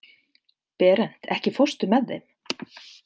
Berent, ekki fórstu með þeim?